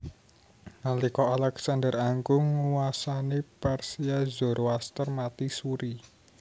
Nalika Alexander Agung nguwasani Persia Zoroaster mati suri